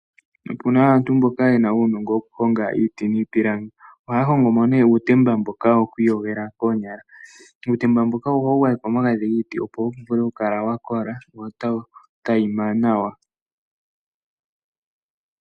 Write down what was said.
Opuna aantu mboka ye na uunongo wokuhonga iiti niipilangi. Ohaya hongo mee uutemba mboka wo ku iyogela koonyala. Uutemba mboka ohawu gwayekwa omagadhi giiti opo wu vule oku kala wa kola wo ta wu tayima nawa.